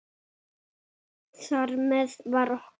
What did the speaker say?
Þar með var okkur